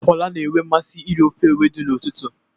Fola na-enwe mmasị iri ofe ewedu n'ụtụtụ.